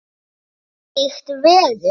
Þvílíkt veður!